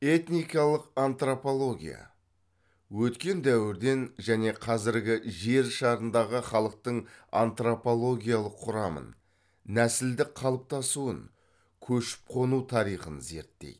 этникалық антропология өткен дәуірден және қазіргі жер шарындағы халықтың антропологиялық құрамын нәсілдік қалыптасуын көшіп қону тарихын зерттейді